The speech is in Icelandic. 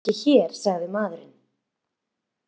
Hann er ekki hér sagði maðurinn.